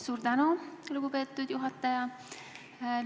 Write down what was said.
Suur tänu, lugupeetud juhataja!